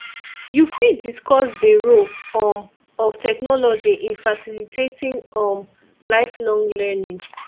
you fit discuss dey role um of technology in facilitating um lifelong learning